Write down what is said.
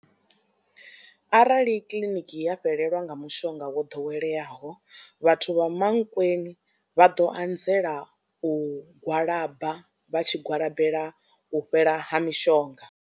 Arali kiḽiniki ya fhelelwa nga mushonga wo ḓoweleaho vhathu vha Mankweng vha ḓo anzela u gwalaba vha tshi gwalabelwa u fhela ha mishonga.